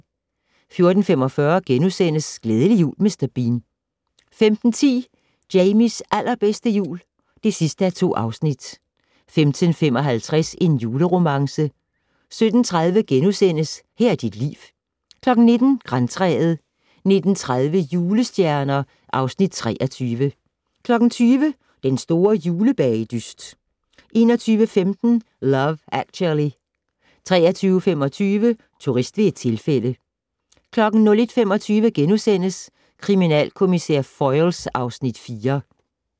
14:45: Glædelig jul Mr. Bean * 15:10: Jamies allerbedste jul (2:2) 15:55: En juleromance 17:30: Her er dit liv * 19:00: Grantræet 19:30: Julestjerner (Afs. 23) 20:00: Den store julebagedyst 21:15: Love Actually 23:25: Turist ved et tilfælde 01:25: Kriminalkommissær Foyle (Afs. 4)*